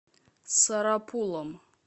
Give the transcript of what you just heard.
сарапулом